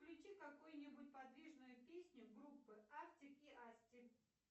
включи какую нибудь подвижную песню группы артик и асти